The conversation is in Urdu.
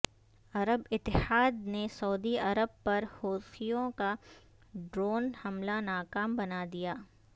عرب اتحاد نے سعودی عرب پر حوثیوں کا ڈرون حملہ ناکام بنا دیا